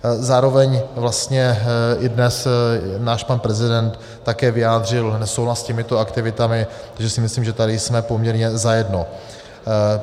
Zároveň vlastně i dnes náš pan prezident také vyjádřil nesouhlas s těmito aktivitami, takže si myslím, že tady jsme poměrně zajedno.